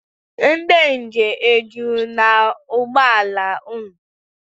Ndị njem ejuru n'ụgbọla unu?